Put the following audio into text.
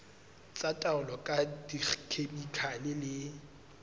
tsa taolo ka dikhemikhale le